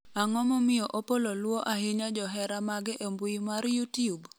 ang'o momiyo Opollo luwo ahinya johera mage e mbui mar youtube?